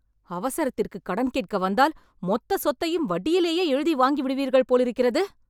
அவசரத்திற்கு கடன் கேட்க வந்தால், மொத்த சொத்தையும் வட்டியிலேயே எழுதி வாங்கிவிடுவீர்கள் போலிருக்கிறது.